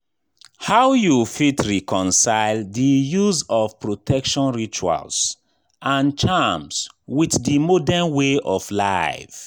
How you fit reconcile di use of protection rituals and charms with di modern way of life?